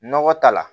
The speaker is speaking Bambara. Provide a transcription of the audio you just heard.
Nɔgɔ ta la